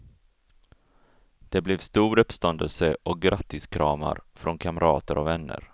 Det blev stor uppståndelse och grattiskramar från kamrater och vänner.